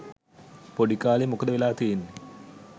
පොඩිකාලෙ මොකද වෙලා තියෙන්නෙ